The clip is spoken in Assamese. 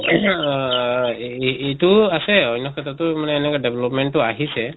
ing আহ এইটো আছে অন্য় ক্ষেত্ৰতো মানে এনেকা development তো আহিছে